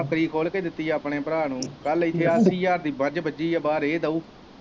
ਬੱਕਰੀ ਖੋਲ ਕੇ ਦਿੱਤੀ ਆ ਆਪਣੇ ਭਰਾ ਨੂੰ, ਕੱਲ ਇੱਥੇ ਸਾਡੀ ਮੱਝ ਬੱਝੀ ਆ ਬਾਹਰ ਇਹ ਦਓ।